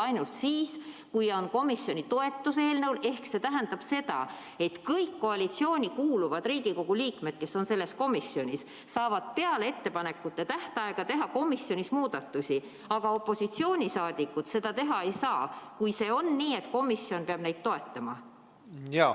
tähendab see seda, et kõik koalitsiooni kuuluvad Riigikogu liikmed, kes on selles komisjonis, saavad muudatusi teha ka pärast ettepanekute esitamise tähtaega, aga opositsiooniliikmed neid teha ei saa, kui on nii, et komisjon peab neid ettepanekuid toetama.